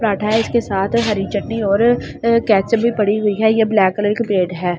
पराठा है इसके साथ हरि चटनी और केचअप भी पड़ी हुई है ये ब्लैक कलर की प्लेट है।